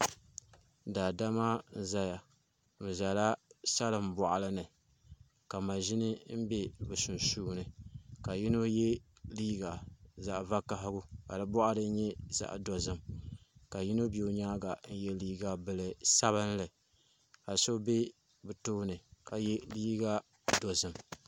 Daadama n ʒɛya bi ʒɛla salin boɣali ni ka maʒini bɛ bi sunsuuni ka yino yɛ liiga zaɣ vakaɣali ka di boɣari nyɛ zaɣ dozim ka yino bɛ o nyaanga n yɛ liiga bili sabinli ka so bɛ o tooni ka yɛ liiga dozim